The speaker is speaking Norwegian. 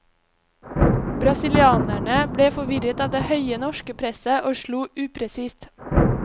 Brasilianerne ble forvirret av det høye norske presset, og slo upresist.